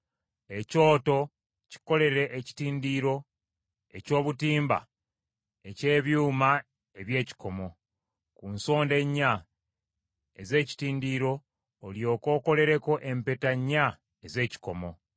Ekyoto kikolere ekitindiro eky’obutimba eky’ebyuma eby’ekikomo; ku nsonda ennya ez’ekitindiro olyoke okolereko empeta nnya ez’ekikomo.